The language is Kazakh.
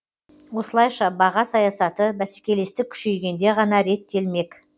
осылайша баға саясаты бәсекелестік күшейгенде ғана реттелмек